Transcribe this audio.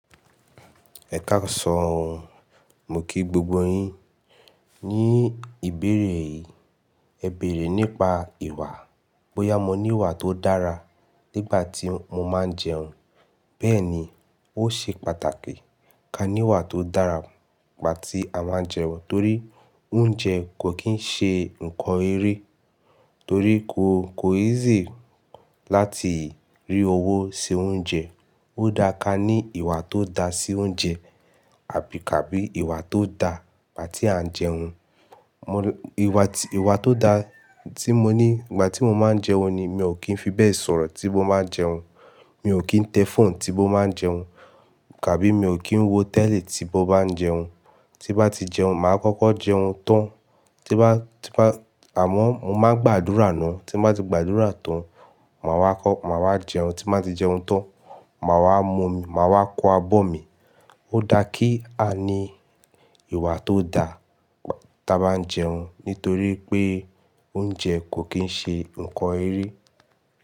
Ẹ̀kaàsán o mo kí gbogbo yín. Ni ìbéèrè yìí, ẹ bèèrè nípa ìwà. Boya mo ní ìwà tó dára nígbà tí mo máa ń jẹun. Bẹ́ẹ̀ ni, ó ṣe pàtàkì ká ní ìwà tó dára nígbà tí a báa ń jẹun torí oúnjẹ kò kín ń ṣe nǹkan eré torí ko, kò easy láti rí owó se oúnjẹ. Ó dára ká ní ìwà tó da sí oúnjẹ àbí ka bí ìwà tó da nígbà tí à ń jẹun. Mò n-- ìwà tí, ìwà tó da tí mo ní nígbà tí mo máa ń jẹun ni mi ò kí ń fi bẹ́ẹ̀ sọ̀rọ̀ tí mo bá ń jẹun, mi ò kí ń tẹ fóònù tí mo bá ń jẹun, tàbí mi ò kí ń wo tẹ́li tí mo bá ń jẹun. Tí bá ti jẹun, màá kọ́kọ́ jẹun tán, tí bá, tí bá-- àmọ́ mo máa gbàdúrà náà. Tí bá ti gbàdúrà tán, màá wá kọ́, màá wá jẹun. Tí bá ti jẹun tán, màá wá mu omi, màá wá kó abọ́ mi. Ó dára kí a ní ìwà tó da nígbà tí a bá ń jẹun nitorí pé oúnjẹ kò kín ń ṣe nǹkan eré.